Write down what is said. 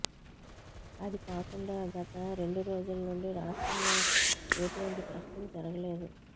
అది కాకుండా గత రెండు రోజుల నుండి రాష్ట్రంలో ఏటువంటి టెస్టింగ్ జరగలేదు